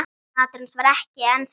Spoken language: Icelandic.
Máttur hans væri ennþá mikill.